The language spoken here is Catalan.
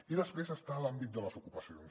i després hi ha l’àmbit de les ocupacions